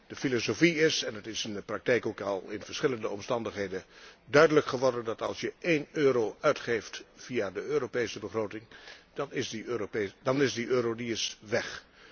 De filosofie is en dat is in de praktijk ook al in verschillende omstandigheden duidelijk geworden dat als je één euro uitgeeft via de Europese begroting, dan is die euro weg.